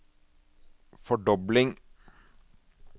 fordobling